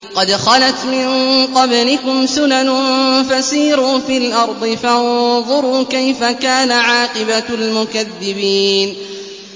قَدْ خَلَتْ مِن قَبْلِكُمْ سُنَنٌ فَسِيرُوا فِي الْأَرْضِ فَانظُرُوا كَيْفَ كَانَ عَاقِبَةُ الْمُكَذِّبِينَ